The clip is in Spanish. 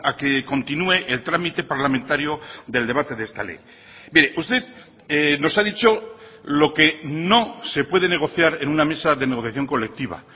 que continúe el trámite parlamentario del debate de esta ley mire usted nos ha dicho lo que no se puede negociar en una mesa de negociación colectiva